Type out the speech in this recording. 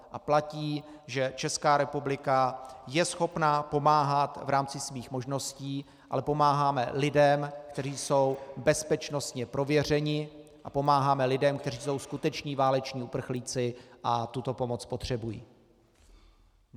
A platí, že Česká republika je schopna pomáhat v rámci svých možností, ale pomáháme lidem, kteří jsou bezpečnostně prověřeni, a pomáháme lidem, kteří jsou skuteční váleční uprchlíci a tuto pomoc potřebují.